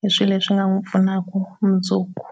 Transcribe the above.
hi swihi leswi nga pfunaka mundzuku.